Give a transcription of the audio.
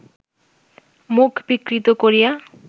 মুখ বিকৃত করিয়া